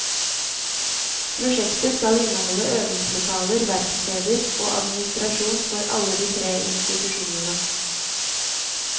Prosjektet skal inneholde øvingslokaler, verksteder og administrasjon for alle de tre institusjonene.